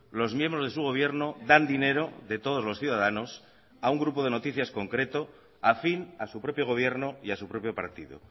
los miembros de su gobierno dan dinero de todos los ciudadanos a un grupo de noticias concreto afín a su propio gobierno y a su propio partido